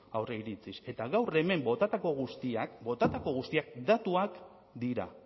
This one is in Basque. aurreiritziz eta gaur hemen botatako guztiak botatako guztiak datuak dira